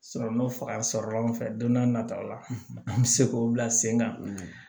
faga sɔrɔla an fɛ don n'a nataw la an bɛ se k'o bila sen kan